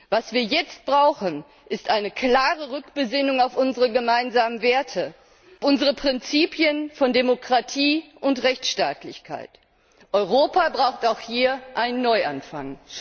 Was wir jetzt brauchen, ist eine klare Rückbesinnung auf unsere gemeinsamen Werte, auf unsere Prinzipien von Demokratie und Rechtsstaatlichkeit. Europa braucht auch hier einen Neuanfang.